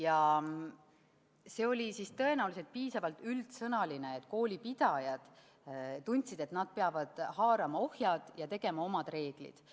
Tõenäoliselt oli see piisavalt üldsõnaline, mistõttu koolipidajad tundsid, et nad peavad haarama ohjad ja tegema oma reeglid.